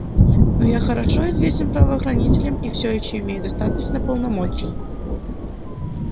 но я хорошо известен правоохранителям и всё ещё имею достаточно полномочий